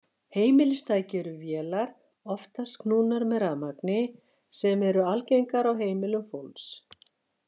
Heimilistæki eru vélar, oftast knúnar með rafmagni, sem eru algengar á heimilum fólks.